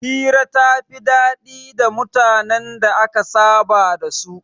Hira ta fi daɗi da mutanen da aka saba da su